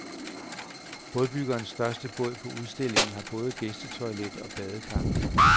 Bådbyggerens største båd på udstillingen har både gæstetoilet og badekar.